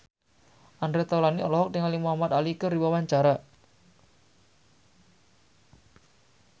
Andre Taulany olohok ningali Muhamad Ali keur diwawancara